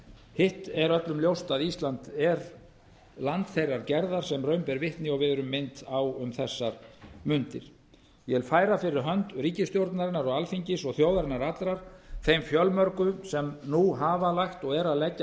hitt er öllum ljóst að ísland er land þeirrar gerðar sem raun ber vitni og við erum minnt á um þessar fundi ég vil færa fyrir hönd ríkisstjórnarinnar og alþingis og þjóðarinnar allrar þeim fjölmörgu sem nú hafa lagt og eru að leggja